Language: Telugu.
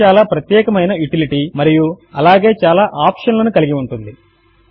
ఇది చాలా చాలా ప్రత్యేకము అయిన యూటిలిటీ మరియు అలాగే చాలా ఆప్షన్ లను కలిగి ఉంటుంది